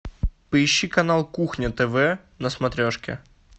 поищи канал кухня тв на смотрешке